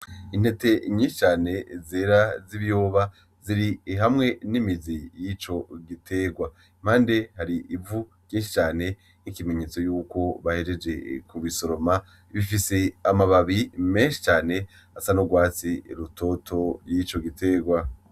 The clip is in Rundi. Intete nyinshi cane zera z'ibiyoba, ziri hamwe n'imizi yico gitegwa. Impande hari Ivy ryinshi cane n'ikimenyetso yuko bahejeje Ku bisoroma, bifise amababi menshi cane asa n'urwatsi rutoto yico gitegwa.